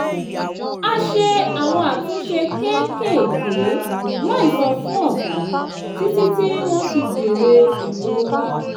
a ṣe àwọn àtúnṣe kéékèèké láì sọ fún ọ̀gá títí tí wọ́n fi béèrè èrò wa